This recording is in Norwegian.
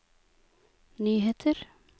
nyheter